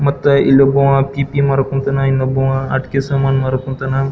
ಮತ್ತೆ ಇಲ್ಲೊಬ್ಬವ್ ಪಿಪಿ ಮಾರಕ್ ಕುಂತನ್ ಇನ್ನೊಬ್ಬವ್ ಆಟಿಕೆ ಸಾಮಾನ್ ಮಾರಕ್ ಕುಂತನ್.